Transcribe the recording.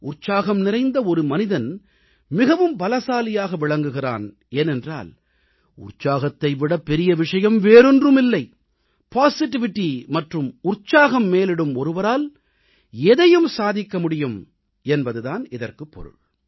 உற்சாகம் நிறைந்த ஒரு மனிதன் மிகவும் பலசாலியாக விளங்குகிறான் ஏனென்றால் உற்சாகத்தை விடப்பெரிய விஷயம் வேறொன்றுமில்லை பாசிட்டிவிட்டி மற்றும் உற்சாகம் மேலிடும் ஒருவரால் எதையும் சாதிக்க முடியும் என்பது தான் இதற்குப் பொருள்